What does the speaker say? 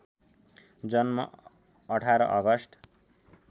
जन्म १८ अगस्ट